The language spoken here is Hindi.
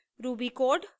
ruby code